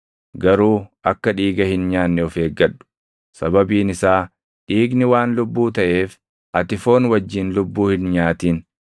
Garuu akka dhiiga hin nyaanne of eeggadhu; sababiin isaa dhiigni waan lubbuu taʼeef ati foon wajjin lubbuu hin nyaatin.